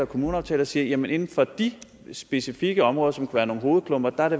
kommuneaftaler og siger inden inden for de specifikke områder som være nogle hovedklumper er